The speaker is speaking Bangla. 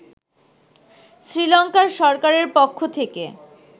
শ্রীলংকার সরকারের পক্ষ থেকে